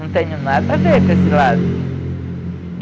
Não tenho nada a ver com esse lado.